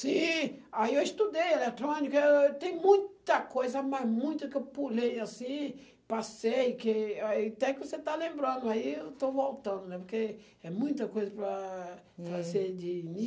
Sim, aí eu estudei eletrônica, eu, tem muita coisa, mas muita que eu pulei assim, passei, que, aí, até que você está lembrando, aí eu estou voltando, porque é muita coisa para fazer de